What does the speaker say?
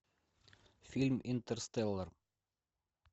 фильм интерстеллар